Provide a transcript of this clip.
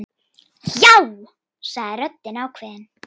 Já, sagði röddin ákveðin.